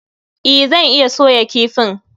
E, zan iya soya kifin